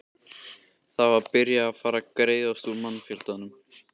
Það var byrjað var að greiðast úr mannfjöldanum.